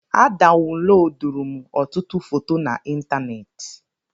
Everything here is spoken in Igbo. A dawuloduru m ọtụtụ foto na ịntanetị